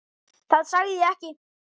Það sagði ég ekki